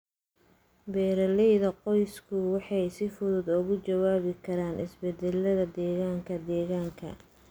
Beeralayda qoysku waxay si fudud uga jawaabi karaan isbeddelada deegaanka deegaanka.